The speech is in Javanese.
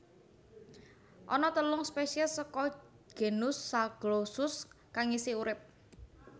Ana telung spesies saka genus Zaglossus kang isih urip